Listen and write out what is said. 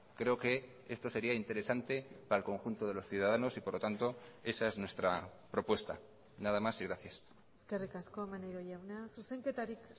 creo que esto sería interesante para el conjunto de los ciudadanos y por lo tanto esa es nuestra propuesta nada más y gracias eskerrik asko maneiro jauna zuzenketarik